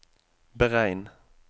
beregn